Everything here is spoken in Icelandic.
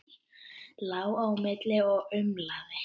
Lá á milli og umlaði.